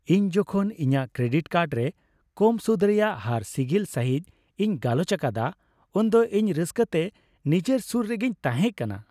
ᱤᱧ ᱡᱚᱠᱷᱚᱱ ᱤᱧᱟᱹᱜ ᱠᱨᱮᱰᱤᱴ ᱠᱟᱨᱰ ᱨᱮ ᱠᱚᱢ ᱥᱩᱫᱷ ᱨᱮᱭᱟᱜ ᱦᱟᱨ ᱥᱤᱜᱤᱞ ᱥᱟᱹᱦᱤᱡ ᱤᱧ ᱜᱟᱞᱚᱪ ᱟᱠᱟᱫᱟ ᱩᱱᱫᱚ ᱤᱧ ᱨᱟᱹᱥᱠᱟᱹᱛᱮ ᱱᱤᱡᱮᱨ ᱥᱩᱨ ᱨᱮᱜᱤᱧ ᱛᱟᱦᱮᱸ ᱠᱟᱱᱟ ᱾